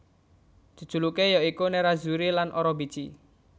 Jejuluké ya iku Nerrazzuri lan Orobici